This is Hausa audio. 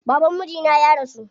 Baban mijina ya rasu.